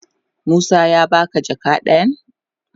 Musa ya ba ka jaka dayan?